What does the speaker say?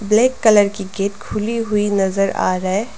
Black colour की gate खुली हुई नजर आ रहा है।